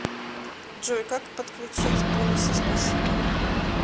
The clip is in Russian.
джой как подключть бонусы спасибо